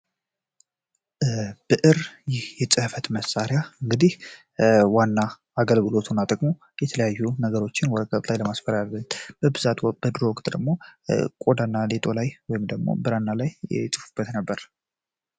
ብዕር ይህ የጽህፈት መሳሪያ እንግዲህ ዋና አገልግሎቱ የተለያዩ ነገሮችን ወረቀት ላይ ለማስፈን በድሮ ቆዳና ሌጦ ላይ ወይም ደሞ ብራና ላይ ይጽፉበት ነበር።